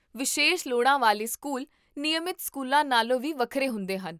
ਵਿਸ਼ੇਸ਼ ਲੋੜਾਂ ਵਾਲੇ ਸਕੂਲ ਨਿਯਮਤ ਸਕੂਲਾਂ ਨਾਲੋਂ ਵੀ ਵੱਖਰੇ ਹੁੰਦੇ ਹਨ